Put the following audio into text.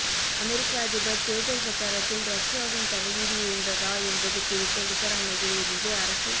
அமெரிக்க அதிபர் தேர்தல் பிரச்சாரத்தில் ரஷ்யாவின் தலையீடு இருந்ததா என்பது குறித்த விசாரணையில் இருந்து அரசு